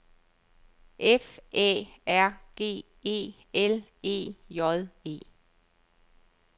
F Æ R G E L E J E